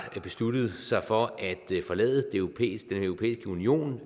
besluttet sig for at forlade den europæiske union